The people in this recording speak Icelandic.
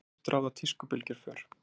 Oft ráða tískubylgjur för.